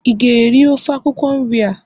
ị ga-eri ofe akwukwo nri a!